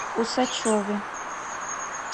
усачеве